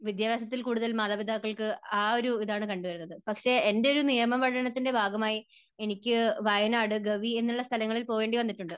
വിദ്യാഭ്യാസത്തിൽ കൂടുതൽ മാതാപിതാക്കൾക്ക് ആ ഒരു ഇതാണ് കണ്ടുവരുന്നത്. പക്ഷേ എൻറെ ഒരു നിയമ പഠനത്തിൻറെ ഭാഗമായി എനിക്ക് വയനാട് ഗവി എന്നുള്ള സ്ഥലങ്ങളിൽ പോകേണ്ടി വന്നിട്ടുണ്ട്.